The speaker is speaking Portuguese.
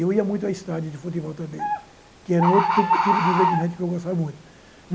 Eu ia muito ao estádio de futebol também, que era um outro tipo de divertimento que eu gostava muito.